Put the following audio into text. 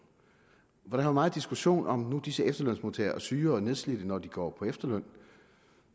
her meget diskussion om hvorvidt disse efterlønsmodtagere er syge og nedslidte når de går på efterløn